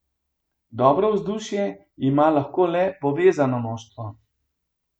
Dobro vzdušje ima lahko le povezano moštvo.